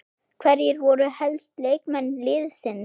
Hverjir voru helstu leikmenn liðsins?